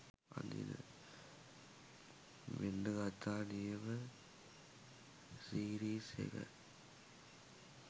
මෙන්න ගත්තා නියම සිරීස් එක